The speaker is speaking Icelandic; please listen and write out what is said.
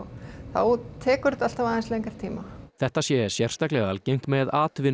þá tekur þetta alltaf aðeins lengri tíma þetta sé sérstaklega algengt með